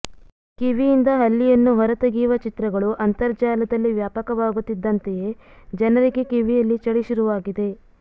ಕಿವಿಯಿಂದ ಹಲ್ಲಿಯನ್ನು ಹೊರತೆಗೆಯುವ ಚಿತ್ರಗಳು ಅಂತರ್ಜಾಲದಲ್ಲಿ ವ್ಯಾಪಕವಾಗುತ್ತಿದ್ದಂತೆಯೇ ಜನರಿಗೆ ಕಿವಿಯಲ್ಲಿ ಚಳಿ ಶುರುವಾಗಿದೆ